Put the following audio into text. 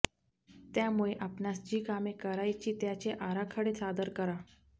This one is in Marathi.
त्यामुळे आपणास जी कामे करायची त्याचे आराखडे सादर करा